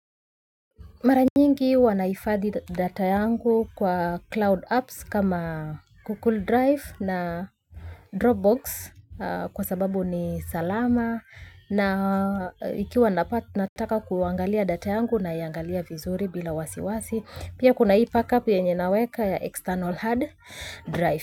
Mara nyingi huwa ninahifadhi data yangu kwa cloud apps kama Google Drive na Dropbox kwa sababu ni salama na ikiwa nataka kuangalia data yangu naiangalia vizuri bila wasiwasi. Pia kuna hii backup yenye naweka ya external hard drive.